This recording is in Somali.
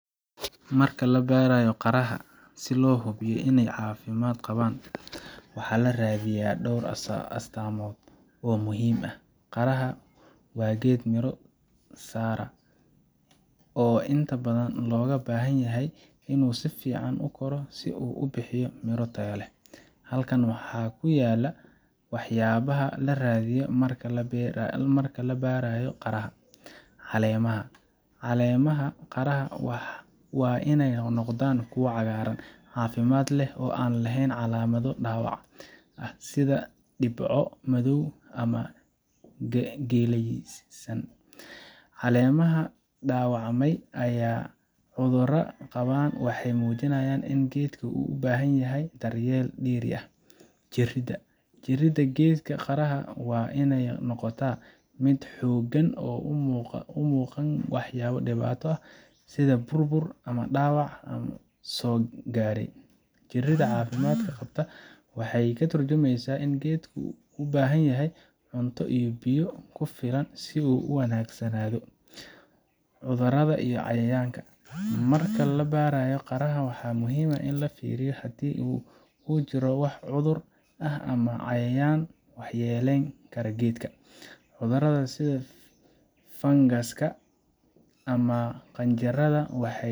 Marka la baarayo qaraha si loo hubiyo in ay caafimaad qabaan, waxaa la raadiyaa dhowr astaamood oo muhiim ah. Qaraha waa geed miro soo saara oo inta badan looga baahan yahay inuu si fiican u koro si uu u bixiyo miro tayo leh. Halkan waxaa ku yaal waxyaabaha la raadiyo marka la baarayo qaraha: Caleemaha: Caleemaha qaraha waa inay noqdaan kuwo cagaaran, caafimaad leh, oo aan lahayn calaamado dhaawac ah sida dhibco madow ama geeliyeysan. Caleemaha dhaawacmay ama cudurradu qabaan waxay muujinayaan in geedka uu u baahan yahay daryeel dheeri ah. Jirridda: Jirridda geedka qaraha waa inay noqotaa mid xooggan oo aan muuqan wax dhibaato ah sida burbur ama dhaawac soo gaadhay. Jirridda caafimaad qabta waxay ka tarjumaysaa in geedku u baahan yahay cunto iyo biyo ku filan si uu si wanaagsanado. Cudurrada iyo Cayayaanka: Marka la baarayo qaraha, waxaa muhiim ah in la fiiriyo haddii uu jiro wax cudur ah ama cayayaanka waxyeelayn kara geedka. Cudurrada sida fangaska ama qanjirada waxay.